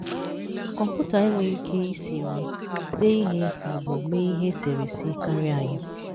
Kọmputa enwere ike isi nri, dee ihe ma ọ bụ mee ihe eserese karịa anyị?